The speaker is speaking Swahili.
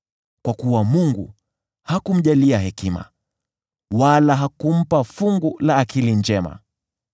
kwa kuwa Mungu hakumjalia hekima, wala hakumpa fungu la akili njema.